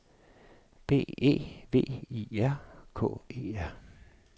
B E V I R K E R